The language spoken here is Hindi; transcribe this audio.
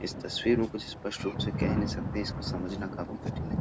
इस तस्वीर में कुछ स्पष्ट रूप कह नहीं सकते इसको समझाना काफी कठिन है।